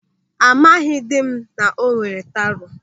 Amaghịdị m na ọ nwere taro.